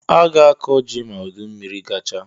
A ga-akọ ji ma udummiri gachaa